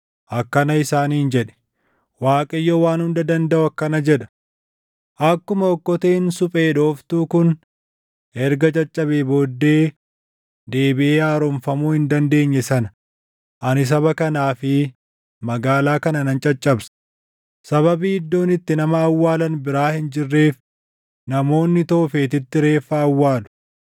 akkana isaaniin jedhi; ‘ Waaqayyo Waan Hunda Dandaʼu akkana jedha: Akkuma okkoteen suphee dhooftuu kun erga caccabee booddee deebiʼee haaromfamuu hin dandeenye sana ani saba kanaa fi magaalaa kana nan caccabsa; sababii iddoon itti nama awwaalan biraa hin jirreef namoonni Toofetitti reeffa awwaalu.